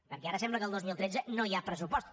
perquè ara sembla que el dos mil tretze no hi ha pressupost